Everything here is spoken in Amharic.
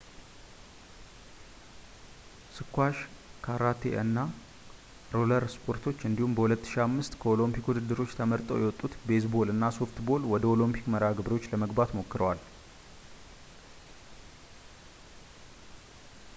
ስኳሽ ካራቴ እና ሮለር ስፖርቶች እንዲሁም በ 2005 ከኦሎምፒክ ውድድሮች ተመርጠው የወጡት ቤዝ ቦል እና ሶፍት ቦል ወደ ኦሊምፒክ መርሃ ግብሮች ለመግባት ሞክረዋል